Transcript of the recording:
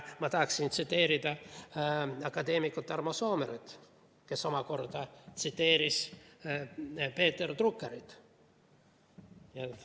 Ma tahaksin tsiteerida akadeemik Tarmo Soomeret, kes omakorda tsiteeris Peter Druckerit.